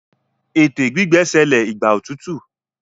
ète gbígbẹ ṣẹlẹ Igba otutu.